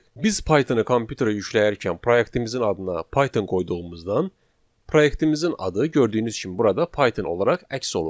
Biz Pythonı kompüterə yükləyərkən proyektimizin adına Python qoyduğumuzdan proyektimizin adı gördüyünüz kimi burada Python olaraq əks olundu.